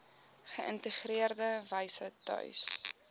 geïntegreerde wyse tuis